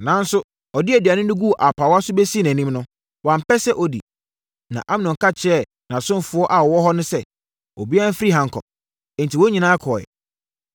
Nanso, ɔde aduane no guu apaawa so bɛsii nʼanim no, wampɛ sɛ ɔdi. Na Amnon ka kyerɛɛ nʼasomfoɔ a wɔwɔ hɔ no sɛ, “Obiara mfiri ha nkɔ!” Enti, wɔn nyinaa kɔeɛ.